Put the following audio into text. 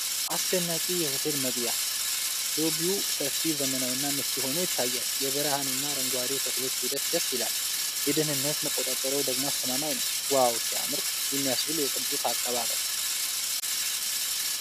አስደናቂ የሆቴል መግቢያ! ሎቢው ሰፊ፣ ዘመናዊና ምቹ ሆኖ ይታያል። የብርሃኑና የአረንጓዴው ተክሎች ውህደት ደስ ይላል። የደህንነት መቆጣጠሪያው ደግሞ አስተማማኝ ነው። "ዋው ሲያምር!" የሚያስብል የቅንጦት አቀባበል።